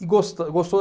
E gostou gostou